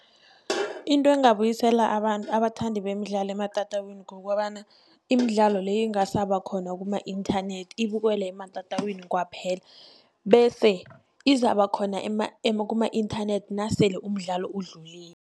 Into engabuyisela abathandi bemidlalo ematatawini, kukobana imidlalo le ingasaba khona kuma-inthanethi ibukwele ematatawini kwaphela., bese izaba khona kuma-inthanethi nasele umdlalo udlulile.